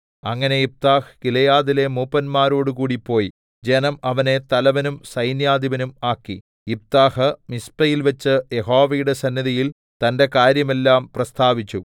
അങ്ങനെ യിഫ്താഹ് ഗിലെയാദിലെ മൂപ്പന്മാരോടുകൂടെ പോയി ജനം അവനെ തലവനും സൈന്യാധിപനും ആക്കി യിഫ്താഹ് മിസ്പയിൽവെച്ച് യഹോവയുടെ സന്നിധിയിൽ തന്റെ കാര്യമെല്ലാം പ്രസ്താവിച്ചു